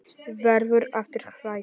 Verður aftur hrædd.